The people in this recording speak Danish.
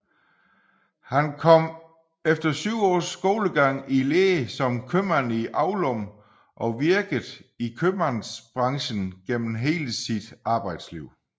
Han kom efter 7 års skolegang i lære som købmand i Aulum og virkede i kømandsbranchen gennem hele sit arbejdsliv